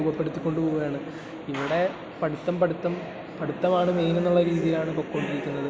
രൂപപ്പെടുത്തി കൊണ്ടുപോവുകയാണ്. ഇവിടെ പഠിത്തം, പഠിത്തം...പഠിത്തമാണ് മെയിൻ എന്നുള്ള രീതിയിലാണ് പൊയ്‌ക്കൊണ്ടിരിക്കുന്നത്.